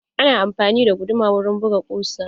Ana amfani da guduma wurin buga ƙusa.